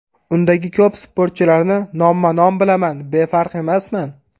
Undagi ko‘p sportchilarni nomma-nom bilaman, befarq emasman.